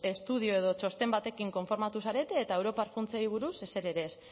estudio edo txosten batekin konformatu zarete eta europar funtsei buruz ezer ere ez